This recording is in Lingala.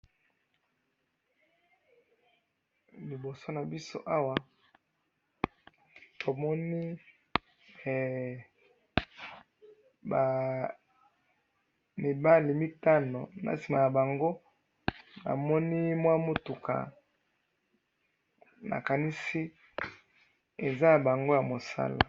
Liboso nabiso awa tomoni, eh! Bamibali mitano nasima nabango namoni mwa mutuka, nakanisi eza yabango yamusala.